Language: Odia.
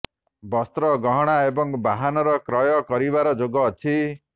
ବସ୍ତ୍ର ଗହଣା ଏବଂ ବାହନର କ୍ରୟ କରିବାର ଯୋଗ ଅଛି